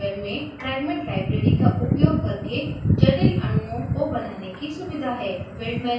avogadro software में fragment library का उपयोग करके जटिल अणुओं को बनाने की सुविधा है